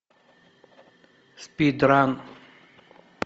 спид ран